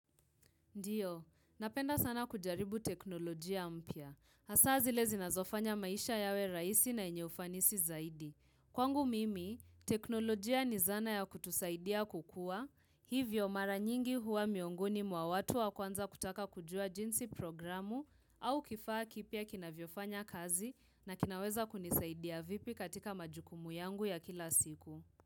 Ndio, napenda sana kujaribu teknolojia mpya. Asaa zile zinazofanya maisha yawe rahisi na yenye ufanisi zaidi. Kwangu mimi, teknolojia ni zana ya kutusaidia kukua Hivyo mara nyingi huwa miongoni mwa watu wa kwanza kutaka kujua jinsi programu au kifaa kipya kinavyofanya kazi na kinaweza kunisaidia vipi katika majukumu yangu ya kila siku.